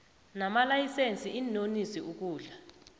namalayisense iinonisi ukudla